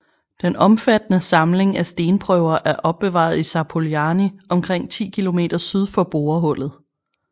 Den omfattende samling af stenprøver er opbevaret i Zapoljarny omkring 10 km syd for borehullet